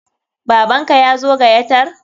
Baban ka yazo gayatar?